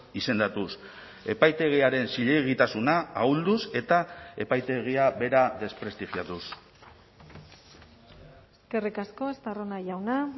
izendatuz epaitegiaren zilegitasuna ahulduz eta epaitegia bera desprestigiatuz eskerrik asko estarrona jauna